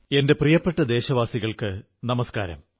എന്റെ പ്രിയപ്പെട്ട ദേശവാസികൾക്കു നമസ്കാരം